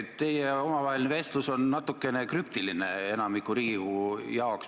Teie omavaheline vestlus on enamiku Riigikogu liikmete jaoks natukene krüptiline.